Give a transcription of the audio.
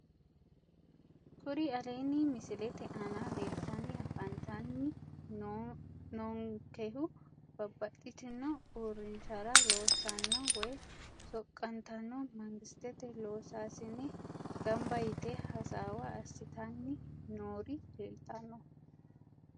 Kuri aleenni misilete aana leeltanni afantanni noonkehu babbaxxitino uurrinshara loossanno woyi soqqantanno mangistete loosaasine gamba yite hasaawa assitanni noori leeltanno